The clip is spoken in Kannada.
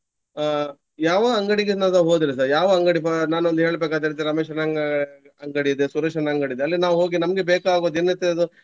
ಅಹ್ ಯಾವ ಅಂಗಡಿಗೆ ನಾವು ಹೋದ್ರೆ ಸಹ ಯಾವ ಅಂಗಡಿ ನಾನು ಒಂದು ಹೇಳ್ಬೆಕಾದ್ರೆ ಇದು ರಮೇಶನ ಅಂಗ~ ಅಂಗಡಿಯಿದೆ ಸುರೇಶನ ಅಂಗಡಿಯಿದೆ. ಅಲ್ಲಿ ನಾವು ಹೋಗಿ ನಮ್ಗೆ ಬೇಕಾಗುವ ದಿನನಿತ್ಯದ್ದು.